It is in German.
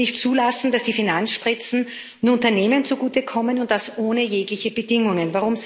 Wir dürfen nicht zulassen, dass die Finanzspritzen nur Unternehmen zugutekommen und das ohne jegliche Bedingungen.